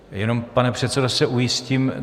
Jenom, pane předsedo, se ujistím.